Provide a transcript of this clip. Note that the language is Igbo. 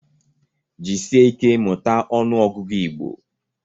Jisike ike mụta ọnụ ọgụgụ Igbo.